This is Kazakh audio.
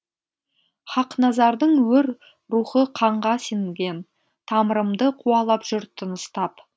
хақназардың өр рухы қанға сіңген тамырымды қуалап жүр тыныстап